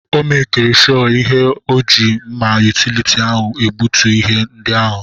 Ọ mekiri shọ ihụ na ọ ji mma yutility ahụ egbutu ihe ndị ahụ.